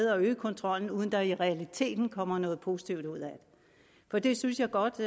at øge kontrollen uden at der i realiteten kommer noget positivt ud at det for det synes jeg godt